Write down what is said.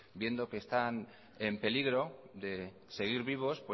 viendo que están en peligro de seguir vivos